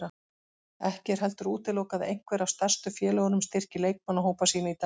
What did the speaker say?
Ekki er heldur útilokað að einhver af stærstu félögunum styrki leikmannahópa sína í dag.